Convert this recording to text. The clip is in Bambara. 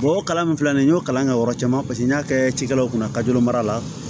o kalan filɛ nin ye n y'o kalan kɛ o yɔrɔ caman paseke n y'a kɛ cikɛlaw kunna kajo mara la